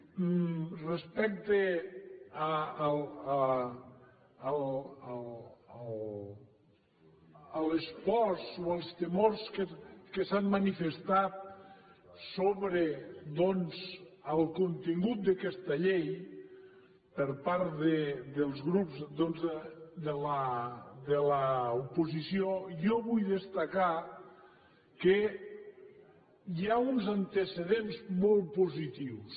i respecte a les pors o als temors que s’han manifestat sobre el contingut d’aquesta llei per part del grups doncs de l’oposició jo vull destacar que hi ha uns antecedents molt positius